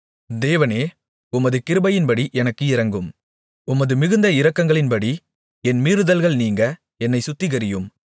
தேவனே உமது கிருபையின்படி எனக்கு இரங்கும் உமது மிகுந்த இரக்கங்களின்படி என் மீறுதல்கள் நீங்க என்னைச் சுத்திகரியும்